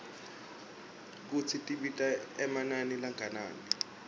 kutsi tibita emanani langakanani